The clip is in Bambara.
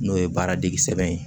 N'o ye baara dege sɛbɛn ye